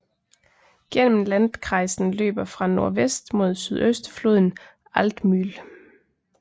Gennem landkreisen løber fra nordvest mod syøst floden Altmühl